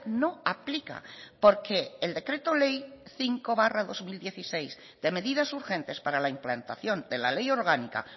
no aplica porque el decreto ley cinco barra dos mil dieciséis de medidas urgentes para la implantación de la ley orgánica